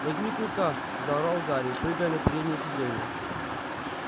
возьми клыка заорал гарри прыгая на переднее сиденье